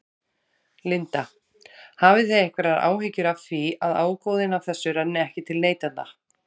Linda: Hafið þið einhverjar áhyggjur af því að ágóðinn af þessu renni ekki til neytenda?